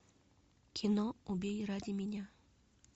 кино убей ради меня